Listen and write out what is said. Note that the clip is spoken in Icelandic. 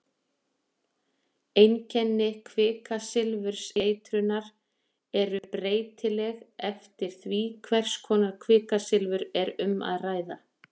einkenni kvikasilfurseitrunar eru breytileg eftir því hvers konar kvikasilfur er um að ræða